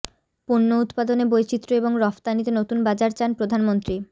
পণ্য উৎপাদনে বৈচিত্র্য এবং রফতানিতে নতুন বাজার চান প্রধানমন্ত্রী